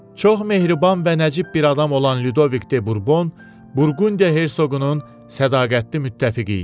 Çox mehriban və nəcib bir adam olan Lyudovik de Burbon, Burqundiya hersoqunun sədaqətli müttəfiqi idi.